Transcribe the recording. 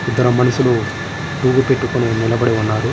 ఇక్కడ మనుషులు పువ్వు పెట్టుకొని ఉన్నారు.